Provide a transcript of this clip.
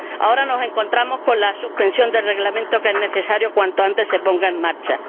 Ahora nos encontramos con la suspensión del Reglamento, que es necesario que, cuanto antes, se ponga en marcha.